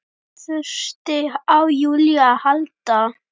Þurfti á Júlíu að halda.